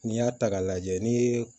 N'i y'a ta k'a lajɛ ni ye